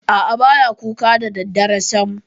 A'a, ba ya kuka da daddare sam.